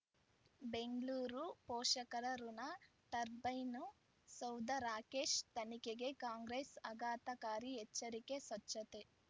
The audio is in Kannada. ಬೆಂಗಳೂರು ಪೋಷಕರಋಣ ಟರ್ಬೈನು ಸೌಧ ರಾಕೇಶ್ ತನಿಖೆಗೆ ಕಾಂಗ್ರೆಸ್ ಆಘಾತಕಾರಿ ಎಚ್ಚರಿಕೆ ಸ್ವಚ್ಛತೆ